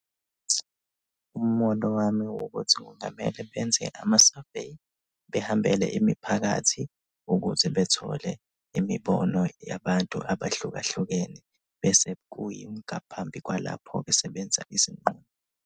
Umbono wami ukuthi kungamele benze ama-survey, behambele imiphakathi ukuze bethole imibono yabantu abahlukahlukene bese kuyingaphambi kwalapho bese benza isinqumo.